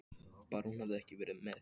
Bara hún hefði ekki verið með.